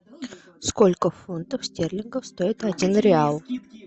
сколько фунтов стерлингов стоит один реал